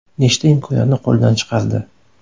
Nechta imkoniyatni qo‘ldan chiqardi.